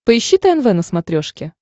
поищи тнв на смотрешке